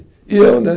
E eu, né?